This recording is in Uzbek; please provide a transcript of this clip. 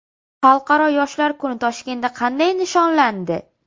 Xalqaro yoshlar kuni Toshkentda qanday nishonlandi?